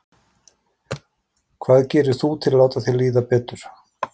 Hvað gerir þú til að láta þér líða betur?